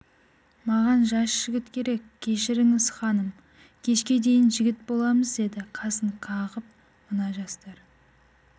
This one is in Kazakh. маған жас жігіт керек кешіріңіз ханым кешке дейін жігіт боламыз деді қасын қағып мына жастар